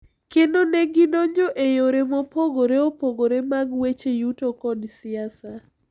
Kendo ne gidongo e yore mopogore opogore mag weche yuto kod siasa,